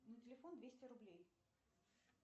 на телефон двести рублей